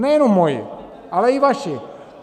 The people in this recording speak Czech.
Nejenom moji, ale i vaši.